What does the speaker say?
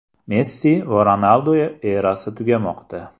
Messi va Ronaldu erasi tugamoqda.